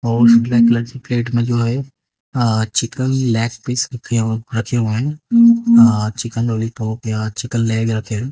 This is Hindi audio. और इसके प्लेट में जो है चिकन लेग पीस रखे हुए है। चिकन लोलीपॉप यहां चिकन लेग या फिर--